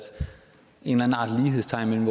lighedstegn af en